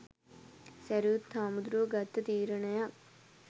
සැරියුත් හාමුදුරුවො ගත්ත තීරණයක්